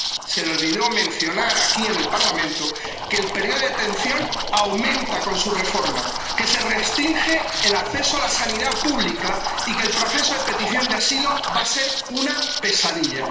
Se le olvidó mencionar aquí, en el Parlamento, que el período de detención aumenta con su reforma, que se restringe el acceso a la sanidad pública y que el proceso de petición de asilo va a ser una pesadilla.